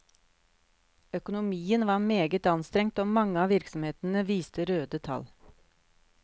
Økonomien var meget anstrengt, og mange av virksomhetene viste røde tall.